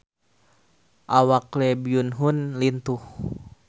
Awak Lee Byung Hun lintuh